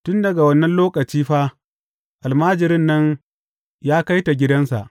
Tun daga wannan lokaci fa almajirin nan ya kai ta gidansa.